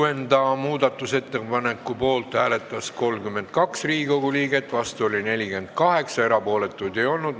Hääletustulemused Kuuenda muudatusettepaneku poolt hääletas 32 ja vastu oli 48 Riigikogu liiget, erapooletuid ei olnud.